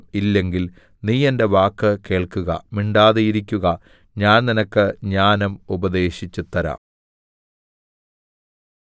ഇല്ലെങ്കിൽ നീ എന്റെ വാക്ക് കേൾക്കുക മിണ്ടാതിരിക്കുക ഞാൻ നിനക്ക് ജ്ഞാനം ഉപദേശിച്ചുതരാം